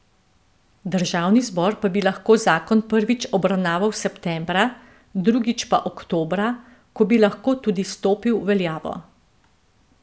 Državni zbor pa bi lahko zakon prvič obravnaval septembra, drugič pa oktobra, ko bi lahko tudi stopil v veljavo.